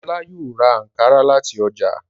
Ọlá yóò ra àǹkárá láti ọjà.